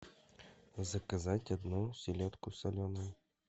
заказать одну селедку соленую